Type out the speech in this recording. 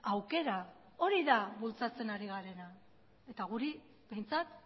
aukera hori da bultzatzen ari garena eta guri behintzat